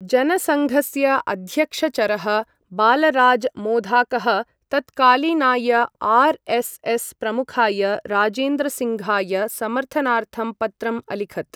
जनसङ्घस्य अध्यक्षचरः बालराज् माधोकः तत्कालीनाय आर्.एस्.एस्. प्रमुखाय राजेन्द्रसिङ्घाय समर्थनार्थं पत्रम् अलिखत्।